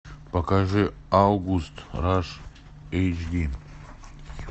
покажи август раш эйч ди